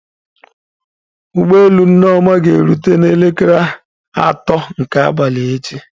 Ụgbọ elu Nneoma ga-erute n'elekere atọ nke abalị echi